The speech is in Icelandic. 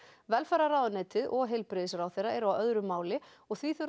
velferðarráðuneytið og heilbrigðisráðherra eru á öðru máli og því þurfa